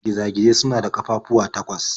Giza-gizai suna da ƙafafuwa takwas.